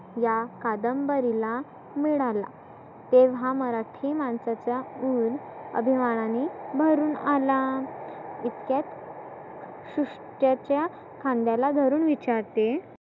या कादंबरीला मिळाला तेव्हा मराठी मानसाचा उर आभिमानाने भरुण आला. इतक्यात सुशट्याच्या खांद्याला धरुन विचारते